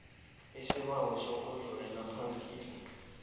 isibawo sokudlulela phambili